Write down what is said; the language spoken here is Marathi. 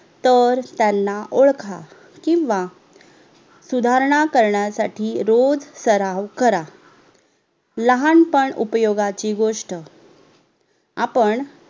तर त्यांना ओडखा किव्हा सुधारणा करण्यासाठी रोज सराव करा लहानपण उपयोगाची गोष्ट आपण